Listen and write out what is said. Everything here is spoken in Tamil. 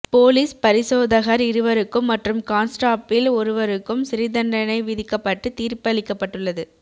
போலீஸ் பரிசோதகர் இருவருக்கும் மற்றும் கான்ஸ்டாப்பில் ஒருவருக்கும் சிறைத்தண்டனை விதிக்கப்பட்டு தீர்ப்பளிக்கப்பட்டுள்ளது